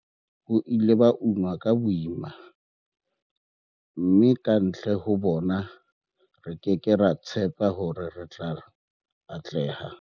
Bo ile ba unwa ka boima, mme kantle ho bona, re ke ke ra tshepa hore re tla atleha. v